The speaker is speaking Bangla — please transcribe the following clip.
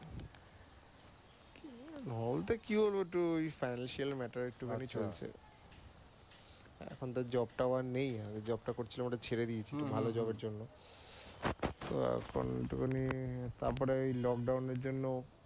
বলতে কি হবে একটু ঐ financial matter একটু খানি চলছে। এখন তো job টা ও আর নেই। ঐ job টা করছিলাম ওটা ছেড়ে দিয়েছি একটা ভালো job এর জন্য। তো এখন একটুখানি তারপরে lockdown এর জন্য